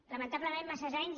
lamentablement massa anys